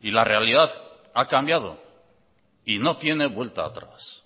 y la realidad ha cambiado y no tiene vuelta atrás